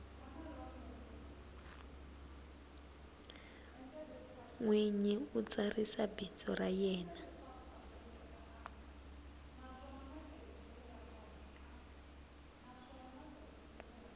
nwinyi u tsarisa bindzu ra yena